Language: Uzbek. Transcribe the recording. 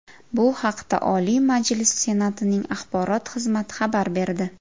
Bu haqda Oliy Majlisi Senatining axborot xizmati xabar berdi .